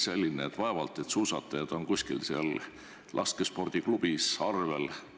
Vaevalt et suusatajad seal kuskil laskespordiklubis arvel on.